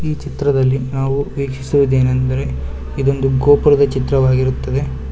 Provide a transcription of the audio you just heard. ಈ ಚಿತ್ರದಲ್ಲಿ ನಾವು ವೀಕ್ಷಿಸುವುದೇನೆಂದರೆ ಇದೊಂದು ಗೋಪುರದ ಚಿತ್ರವಾಗಿರುತ್ತದೆ.